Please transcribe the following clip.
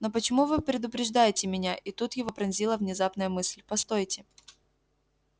но почему вы предупреждаете меня и тут его пронзила внезапная мысль постойте